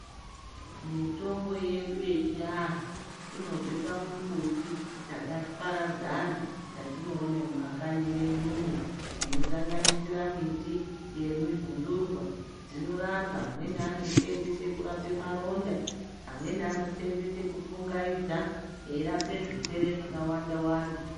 Mitombo yedu yechianhu inobve pamumbuti dzakaparadzana dzatinoone mumakanyi mwedumwo inosanganisira miti dzeminhundurwa. Dzinorapa ,amweni anosenzese kurape maronda, amweni anosenzese kupfungaidza eirapa zvirwere zvakawanda wanda.